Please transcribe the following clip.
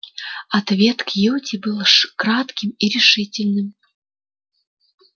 ответ кьюти был кратким и решительным